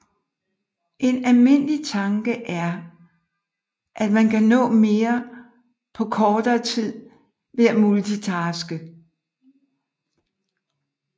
En almindelig tanke er at man kan nå mere på kortere tid ved at multitaske